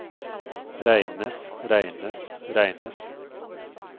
regnes regnes regnes